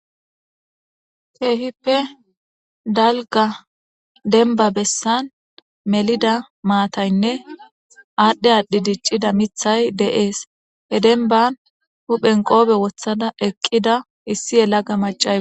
Keehippe dalga denba bessan melida maataynne aadhdhe aadhdhi diccida mithay de'ees he denban huphen qoobe wothada eqqida issi yelaga macae.